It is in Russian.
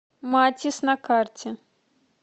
матис на карте